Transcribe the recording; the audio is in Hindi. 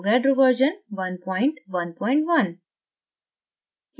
avogadro version 111